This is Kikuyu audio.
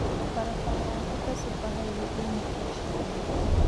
Barabara ya Thika Superhighway ĩĩ mabiacara maingĩ.